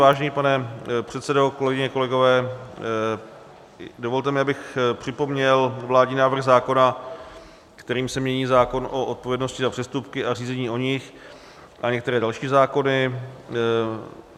Vážený pane předsedo, kolegyně, kolegové, dovolte mi, abych připomněl vládní návrh zákona, kterým se mění zákon o odpovědnosti za přestupky a řízení o nich a některé další zákony.